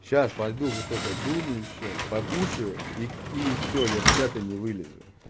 сейчас пойду вот только дуну ещё покушаю и и всё я с чата не вылезу